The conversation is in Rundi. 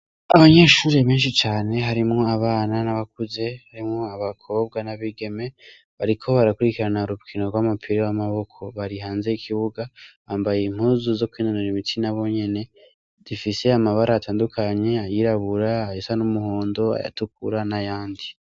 Abanyeshure benshi cane harimwo abana n'abakuze harimwo abakobwa n'abigeme bariko barakurikirana urukino rw'umupira w'amaboko bari hanze y'ikibuga bambaye impuzu zo kwinonora imitsi n'abonyene zifise amabara atandukanye ayirabura, ayasa n'numuhondo, ayatukura n'ayandi.